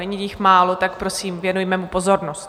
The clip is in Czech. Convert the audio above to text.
Není jich málo, tak prosím, věnujme mu pozornost.